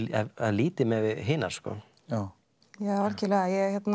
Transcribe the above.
lítið miðað við hinar já algjörlega